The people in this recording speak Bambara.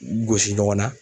gosi ɲɔgɔn na